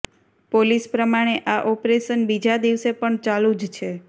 police પ્રમાણે આ operation બીજા દિવસે પણ ચાલુ જ છે